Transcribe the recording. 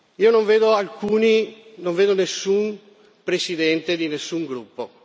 Io non vedo alcuni non vedo nessun presidente di nessun gruppo.